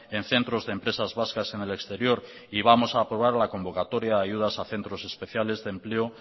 en centros de empresas vascas en el exterior y vamos a aprobar la convocatoria a ayudas a centros especiales de empleo